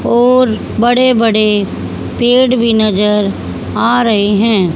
और बड़े बड़े पेड़ भी नजर आ रहे हैं।